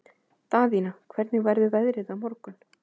Daðína, hvernig verður veðrið á morgun?